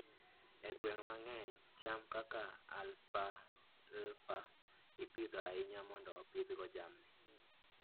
E gwenge mang'eny, cham kaka alfalfa ipidho ahinya mondo opidhgo jamni.